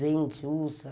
vende, usa.